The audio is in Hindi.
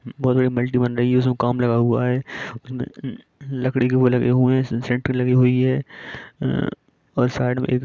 बहुत बड़ी मल्टी बन रही है उसमें काम लगा हुआ है उसमें लकड़ी के वो लगे हुए हैं इसमें सेंट्रिंग लगी हुई है और साइड में--